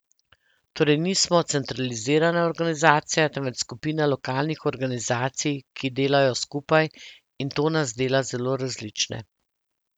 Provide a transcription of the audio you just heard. Torej nismo centralizirana organizacija, temveč skupina lokalnih organizacij, ki delajo skupaj, in to nas dela zelo različne.